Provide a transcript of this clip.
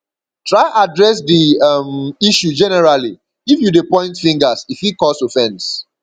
try address di um issue generally if you de point fingers e fit cause offense